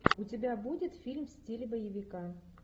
у тебя будет фильм в стиле боевика